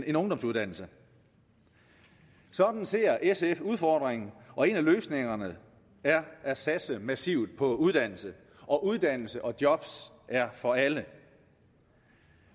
en ungdomsuddannelse sådan ser sf udfordringen og en af løsningerne er at satse massivt på uddannelse og uddannelse og job er for alle